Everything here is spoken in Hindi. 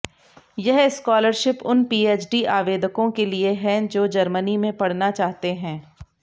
यह स्कॉलरशिप उन पीएचडी आवेदकों के लिए हैं जो जर्मनी में पढ़ना चाहते हैं